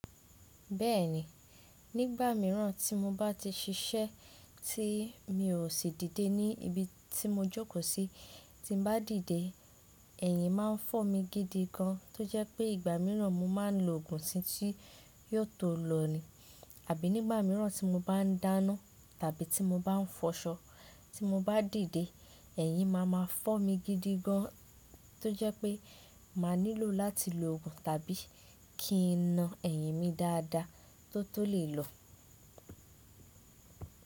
Bẹ́ẹ̀ni, nígbà mìíràn tí mo bá ti ṣiṣẹ́ tí mi ò sì dìde ní ibi tí mo jókòó sí, tí n bá dìde, ẹ̀yìn máa ń fọ́ mi gidi gan tó jẹ́ pé ìgbà mìíràn mo máa ń lo òògùn tí yóò tó lọ ni. Àbí nígbà mìíràn tí mo bá n dáná tàbí tí mo bá n fọṣọ, tí mo bá dìde, ẹ̀yìn máa ma fọ́ mi gidi gan tó jẹ́ pé máa nílò láti lo òògùn tàbí kí n na ẹ̀yìn mi dáadáa tó tó lè lọ.